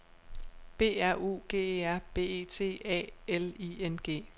B R U G E R B E T A L I N G